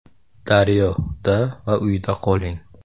“Daryo”da va uyda qoling.